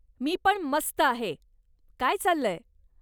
मी पण मस्त आहे. काय चाललंय?